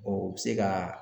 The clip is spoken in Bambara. u bɛ se ka